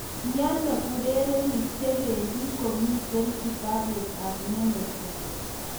miano urerenig chebendi komiten kitapuut ab manecha?